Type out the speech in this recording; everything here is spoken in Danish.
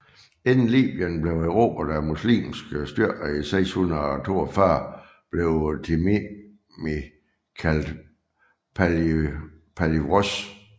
Inden Libyen blev erobret af muslimske styrker i 642 blev Timimi kaldt Palivros